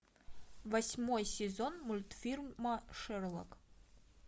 восьмой сезон мультфильма шерлок